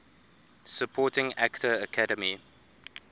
supporting actor academy